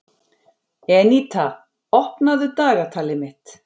Eníta, opnaðu dagatalið mitt.